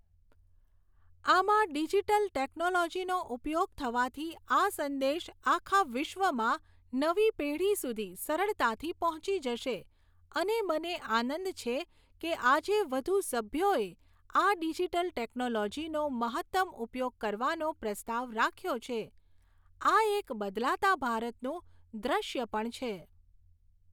આમાં ડિજિટલ ટેક્નોલોજીનો ઉપયોગ થવાથી આ સંદેશ આખા વિસ્વમાં નવી પેઢી સુધી સરળતાથી પહોંચી જશે અને મને આનંદ છે કે આજે વધુ સભ્યોએ આ ડિજિટલ ટેક્નોલોજીનો મહત્તમ ઉપયોગ કરવાનો પ્રસ્તાવ રાખ્યો છે, આ એક બદલાતા ભારતનું દ્રશ્ય પણ છે.